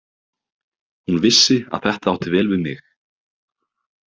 Hún vissi að þetta átti vel við mig.